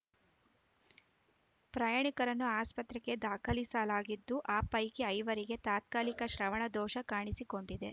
ಪ್ರಯಾಣಿಕರನ್ನು ಆಸ್ಪತ್ರೆಗೆ ದಾಖಲಿಸಲಾಗಿದ್ದು ಆ ಪೈಕಿ ಐವರಿಗೆ ತಾತ್ಕಾಲಿಕ ಶ್ರವಣದೋಷ ಕಾಣಿಸಿಕೊಂಡಿದೆ